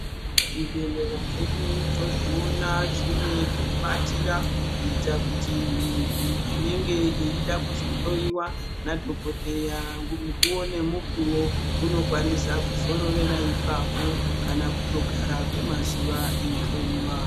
Zvibhehlera zvedu tozvoona zvine pekuatira kuita kuti muntu anenge eida kuzohlowiwa nadhokodheya mukuwo nemukuwo unokwanisa kuzororera ipapo kana kutogara kwemazuwa eihlowiwa.